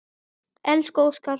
Elsku Óskar.